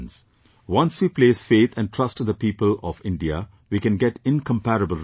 Once we place faith and trust in the people of India, we can get incomparable results